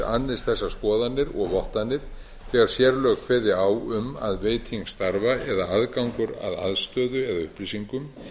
lögreglukerfisins annist þessar skoðanir og vottanir þegar sérlög kveði á um að veiting starfa eða aðgangur að aðstöðu eða upplýsingum